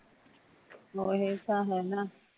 ਓਹੀ ਤਾਂ ਹੈ ਨਾ